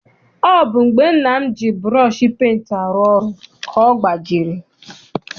Ọ bụ mgbe nna m ji burọshi penti arụ ọrụ ka ọ gbajiri.